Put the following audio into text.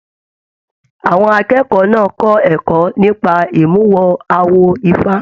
Àwọn akẹ́kọ̀ọ́ náà kẹkọọ nípa imuwọ̀ awo ifá.